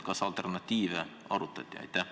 Kas alternatiive arutati?